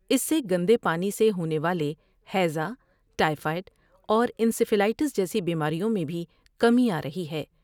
اس سے گندے پانی سے ہونے والے ہیزا ، ٹائی فائڈ اور انسیفلائٹس جیسی بیماریوں میں بھی کمی آ رہی ہے ۔